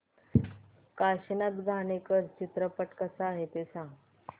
काशीनाथ घाणेकर चित्रपट कसा आहे ते सांग